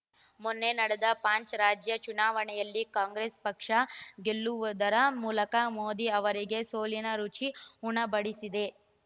ಮೊನ್ನೆ ನಡೆದ ಪಂಚ್ ರಾಜ್ಯ ಚುನಾವಣೆಯಲ್ಲಿ ಕಾಂಗ್ರೆಸ್ ಪಕ್ಷ ಗೆಲ್ಲುವುದರ ಮೂಲಕ ಮೋದಿ ಅವರಿಗೆ ಸೋಲಿನ ರುಚಿ ಉಣಬಡಿಸಿದೆ